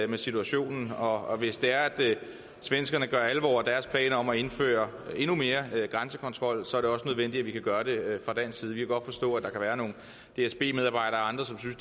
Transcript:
med situationen og hvis det er at svenskerne gør alvor af deres planer om at indføre endnu mere grænsekontrol så er det også nødvendigt at vi kan gøre det fra dansk side vi kan godt forstå at der kan være nogle dsb medarbejdere og andre som synes